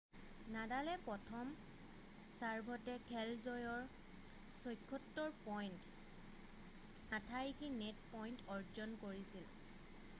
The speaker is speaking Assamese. নাডালে প্ৰথম ছাৰ্ভতে খেল জয়ৰ 76পইণ্ট 88% নেট পইণ্ট অৰ্জন কৰিছিল